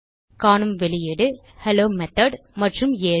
காணும் வெளியீடு hello method மற்றும் 7